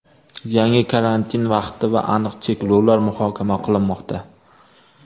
yangi karantin vaqti va aniq cheklovlar muhokama qilinmoqda.